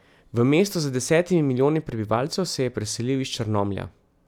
V mesto z desetimi milijoni prebivalcev se je preselil iz Črnomlja.